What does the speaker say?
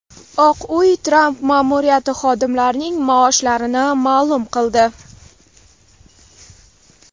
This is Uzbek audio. Oq uy Tramp ma’muriyati xodimlarining maoshlarini ma’lum qildi.